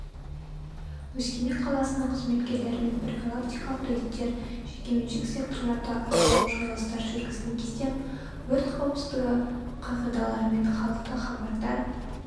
өскемен қаласының қызметкерлерімен профилактикалық рейдтер жекеменшік секторларды аралау жиылыстар жүргізген кезде өрт қауіпсіздігі қағидаларымен халықты хабардар